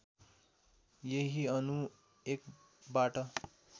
यही अणु एकबाट